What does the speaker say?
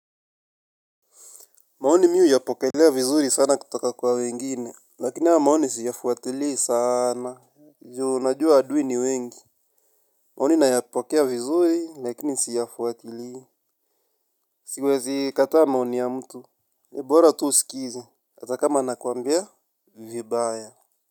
Maoni mi huyapokelea vizuri sana kutoka kwa wengine. Lakini hayo maoni siyafuatilii saana. Ju najua adui ni wengi. Maoni nayapokea vizuri, lakini siyafuatilii. Siwezi kataa maoni ya mtu. Ni bora tu usikize. Hata kama anakuambia vibaya.